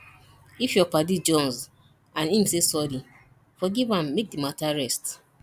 if yur paddy jonze and em say sorry forgiv am mek di mata rest